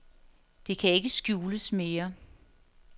Det kan ikke skjules mere.